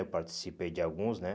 Eu participei de alguns, né?